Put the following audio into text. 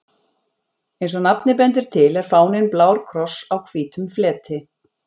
Eins og nafnið bendir til er fáninn blár kross á hvítum fleti.